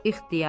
İxtiyar.